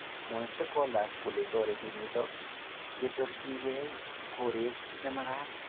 Mwae stakeholders kole toreti nito ketorjikei koret nemakat